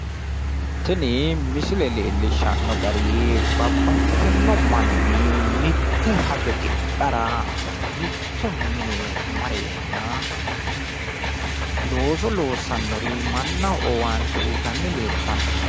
Tini misile leellishanno gari babbaxxitino manni mitte hajo tidhara mitto mine mareenna looso loossannori mannaho owaante uyitanni leeltanno